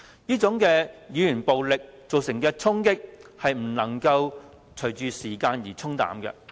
這種語言暴力所造成的衝擊，不會隨着時間而沖淡。